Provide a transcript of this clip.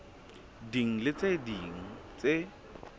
ding le tse ding tse